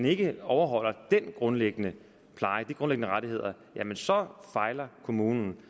ikke overholder den grundlæggende pleje de grundlæggende rettigheder så fejler kommunen